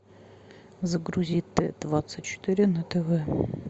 загрузи т двадцать четыре на тв